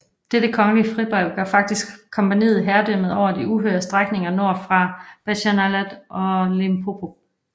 Dette kongelige fribrev gav faktisk kompagniet herredømmet over de uhyre strækninger nord for Bechuanaland og Limpopo